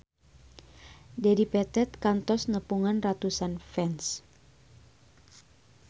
Dedi Petet kantos nepungan ratusan fans